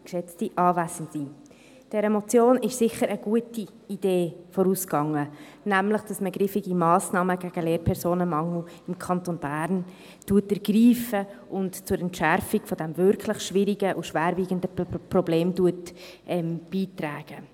Dieser Motion ging sicher eine gute Idee voraus, nämlich, dass man griffige Massnahmen gegen den Lehrpersonenmangel im Kanton Bern ergreift und zur Entschärfung dieses wirklich schwierigen und schwerwiegenden Problems beiträgt.